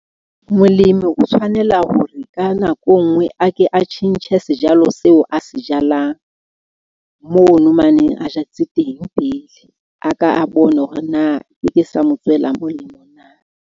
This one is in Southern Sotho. Molemi o tshwanela hore ka nako enngwe a ke a tjhentjhe sejalo seo a se jalang mono mane a jetse teng pele. A ka a bone hore na ke ke sa mo tswela molemo na.